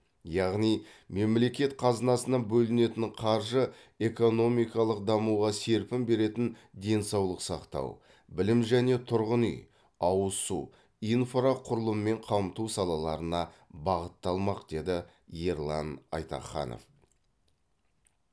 яғни мемлекет қазынасынан бөлінетін қаржы экономикалық дамуға серпін беретін денсаулық сақтау білім және тұрғын үй ауыз су инфрақұрылыммен қамту салаларына бағытталмақ деді ерлан айтаханов